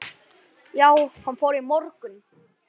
Já, hann fór í morgun